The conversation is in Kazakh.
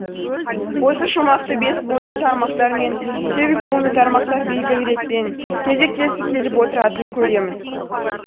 осы шумақты бес буынды тармақтар мен сегіз буынды тармақтар белгілі ретпен кезектесіп келіп отыратынын көреміз